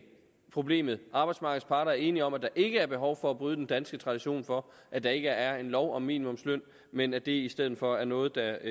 problemet arbejdsmarkedets parter er enige om at der ikke er behov for at bryde den danske tradition for at der ikke er en lov om minimumsløn men at det i stedet for er noget der